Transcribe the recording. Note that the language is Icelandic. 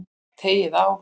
Teygið á.